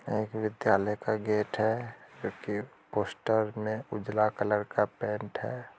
एक विद्यालय का गेट है जो कि पोस्टर में उजला कलर का पैंट है।